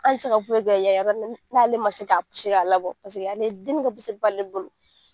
Hali i tɛ se ka foyi kɛ yan yɔrɔ n'ale man se ka ci a labɔ paseke ale deni ka b'ale bolo.